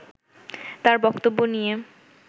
তার বক্তব্য নিয়ে